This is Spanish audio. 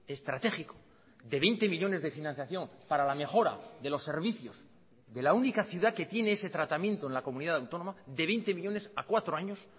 estratégico de veinte millónes de financiación para la mejora de los servicios de la única ciudad que tiene ese tratamiento en la comunidad autónoma de veinte millónes a cuatro años